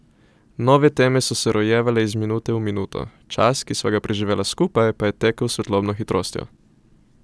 Nove teme so se rojevale iz minute v minuto, čas, ki sva ga preživela skupaj, pa je tekel s svetlobno hitrostjo.